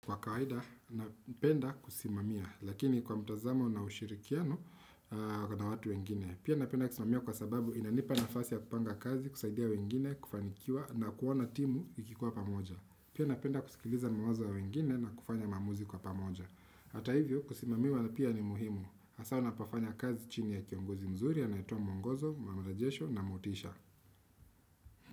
Kwa kawaida napenda kusimamia lakini kwa mtazamo na ushirikiano kuna watu wengine pia napenda kusimamia kwa sababu inanipa nafasi ya kupanga kaz kusaidia wengine kufanikiwa na kuona timu ikikuwa pamoja pia napenda kusikiliza mawazo ya wengine na kufanya mamuzi kwa pamoja hata hivyo kusimamiwa na pia ni muhimu hasa unapafanya kazi chini ya kiongozi mzuri anaetowa muongozo marajesho na motisha.